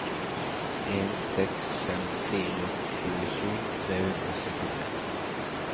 en seks fem fire tjuesju tre hundre og syttitre